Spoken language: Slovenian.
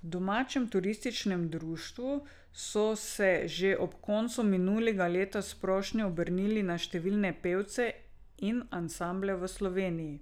V domačem turističnem društvu so se že ob koncu minulega leta s prošnjo obrnili na številne pevce in ansamble v Sloveniji.